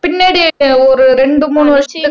பின்னாடி ஒரு ரெண்டு மூணு வருஷத்துக்கு